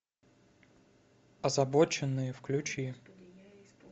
озабоченные включи